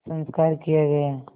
संस्कार किया गया